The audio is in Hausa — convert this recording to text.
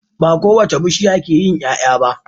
Ba kowace bishiya ke yin Y'ay'a ba